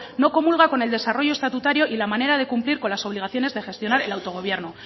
no comulga con el desarrollo estatutario y la manera de cumplir con las obligaciones de gestionar el autogobierno